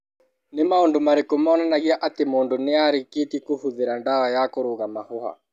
Nĩ maũndũ marĩkũ monanagia atĩ mũndũ nĩ arĩkĩtie kũhũthĩra ndawa ya kũrũnga mahũha?